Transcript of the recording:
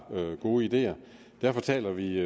gode ideer derfor taler vi